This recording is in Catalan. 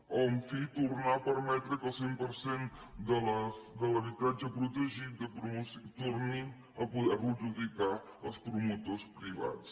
o en fi tornar a permetre que el cent per cent de l’habitatge protegit tornin a poder lo adjudicar els promotors privats